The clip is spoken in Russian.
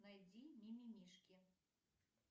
найди мимимишки